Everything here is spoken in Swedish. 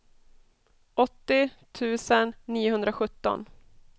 åttio tusen niohundrasjutton